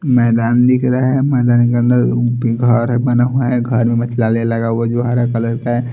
मैदान दिख रहा है मैदान के अंदर भि घर बना हुआ है घर मे मितलाले लगा हुआ है जो हरा कलर का है।